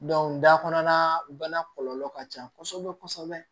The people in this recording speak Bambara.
dakɔnɔna bana kɔlɔlɔ ka ca kosɛbɛ kosɛbɛ